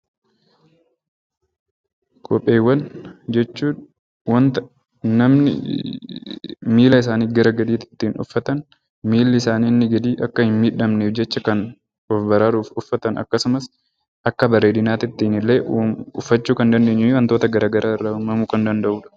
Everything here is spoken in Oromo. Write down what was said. Kopheewwan jechuun wanta namni miila isaanii gara gadiitti uffatani miilli isaanii inni gadii akka hin miidhamneef jecha of baraaruuf uffatan akkasumas akka bareedinaatittiinnillee uffachuu kan dandeenyu wantoota garagaraa irraa uummamuu kan danda'udha.